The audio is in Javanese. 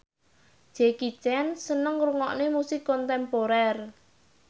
Jackie Chan seneng ngrungokne musik kontemporer